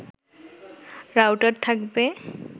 router থাকবে